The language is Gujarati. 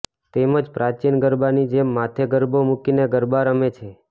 તેમજ પ્રાચીન ગરબાની જેમ માથે ગરબો મુકીને ગરબા રમે છે